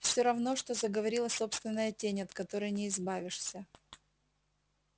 все равно что заговорила собственная тень от которой не избавишься